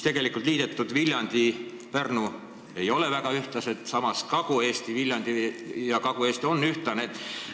Liidetud Viljandi ja Pärnu ei ole väga ühtlased, samas Kagu-Eesti, Viljandi ja Kagu-Eesti on ühtlased.